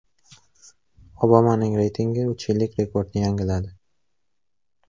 Obamaning reytingi uch yillik rekordni yangiladi.